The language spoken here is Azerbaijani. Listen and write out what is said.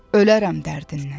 Ölərəm dərdindən.